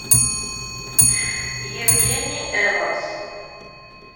евгений эванс